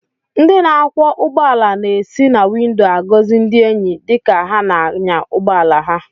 Ndị na-akwọ ụgbọala na-esi na windo agọzi ndi enyi dịka ha na-anya ụgbọ ala ha